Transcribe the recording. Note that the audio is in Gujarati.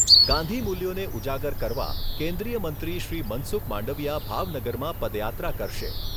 ગાંધી મૂલ્યોને ઉજાગર કરવા કેન્દ્રીય મંત્રીશ્રી મનસુખ માંડવીયા ભાવનગરમાં પદયાત્રા કરશે.